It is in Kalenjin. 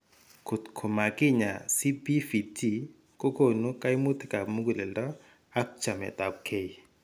Kotko makinyaay CPVT kokoonu kaimutikap muguleldo ak chaametapkeey.